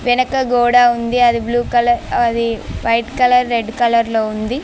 వెనక గోడ ఉంది. అది బ్లూ కలర్ అది వైట్ కలర్ రెడ్ కలర్లో ఉంది.